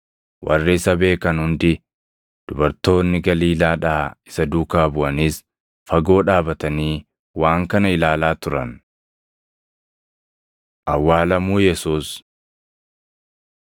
Warri isa beekan hundi, dubartoonni Galiilaadhaa isa duukaa buʼanis fagoo dhaabatanii waan kana ilaalaa turan. Awwaalamuu Yesuus 23:50‑56 kwf – Mat 27:57‑61; Mar 15:42‑47; Yoh 19:38‑42